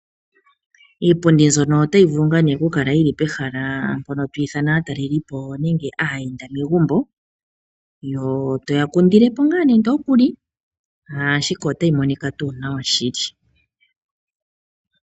Iipundi mbyono otayi vulu oku kala pehala mpono twiithana aatalelipo nenge aayenda megumbo, toya kundilepo ngaa nande okuli, ashike otayi monika tuu nawa shili.